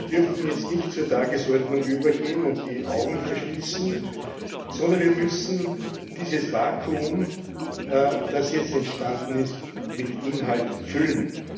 Wir dürfen jetzt nicht zur Tagesordnung übergehen und die Augen verschließen, sondern wir müssen dieses Vakuum, das jetzt entstanden ist, mit Inhalt füllen.